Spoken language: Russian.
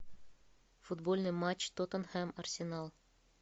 футбольный матч тоттенхэм арсенал